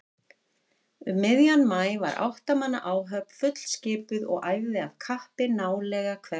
Um miðjan maí var átta manna áhöfn fullskipuð og æfði af kappi nálega hvert kvöld.